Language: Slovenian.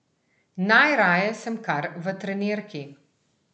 Najraje sem kar v trenirki.